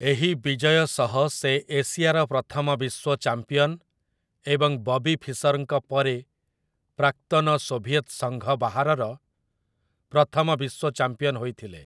ଏହି ବିଜୟ ସହ ସେ ଏସିଆର ପ୍ରଥମ ବିଶ୍ୱ ଚାମ୍ପିଅନ୍ ଏବଂ ବବି ଫିସର୍‌ଙ୍କ ପରେ ପ୍ରାକ୍ତନ ସୋଭିଏତ୍ ସଂଘ ବାହାରର ପ୍ରଥମ ବିଶ୍ୱ ଚାମ୍ପିଅନ୍ ହୋଇଥିଲେ ।